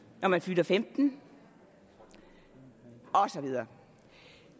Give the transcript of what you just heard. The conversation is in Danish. når man fylder femten år og så videre